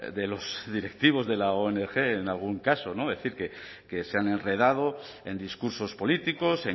de los directivos de la ong en algún caso es decir que se han enredado en discursos políticos